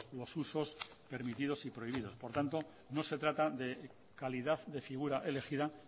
los usos permitidos y prohibidos por tanto no se trata de calidad de figura elegida